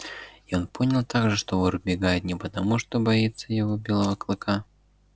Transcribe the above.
и он понял также что вор убегает не потому что боится его белого клыка